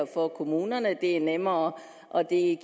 for kommunerne at det er nemmere og at det